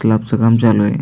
Slab च काम चालू आहे.